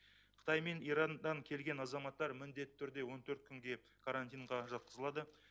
қытай мен ираннан келген азаматтар міндетті түрде он төрт күнге карантинға жатқызылады